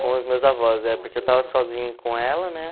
Com os meus avós, é, porque eu estava sozinho com ela, né?